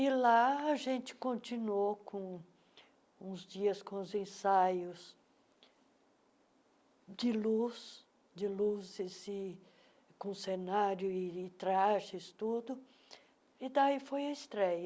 E lá a gente continuou com uns dias com os ensaios de luz de luzes e, com cenário e trajes, e daí foi a estreia.